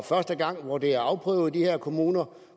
første gang hvor det er afprøvet i de her kommuner